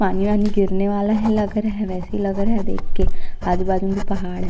पानी वानी गिरने वाला है लग रहा है वइसी लग रहा है देख के आजु-बाजू म भी पहाड़ है।